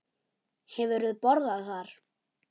Hefurðu borðað þar?